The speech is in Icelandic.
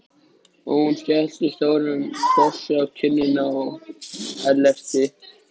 Hún skellti stórum kossi á kinnina á